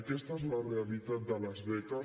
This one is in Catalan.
aquesta és la realitat de les beques